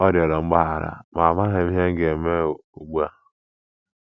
Ọ rịọrọ mgbaghara, ma amaghị m ihe m ga -- eme ugbu a. ”